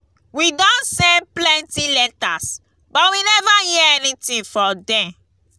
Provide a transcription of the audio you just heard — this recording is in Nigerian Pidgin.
we don send plenty letters but we never hear anything from dem